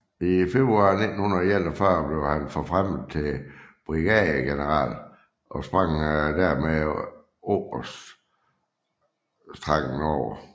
I februar 1941 blev han forfremmet til brigadegeneral og sprang dermed oberstrangen over